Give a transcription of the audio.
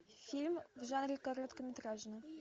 фильм в жанре короткометражный